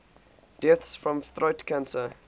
deaths from throat cancer